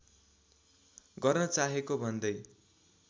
गर्न चाहेको भन्दै